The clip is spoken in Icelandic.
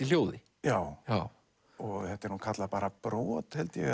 hljóði já já þetta er nú kallað bara brot held ég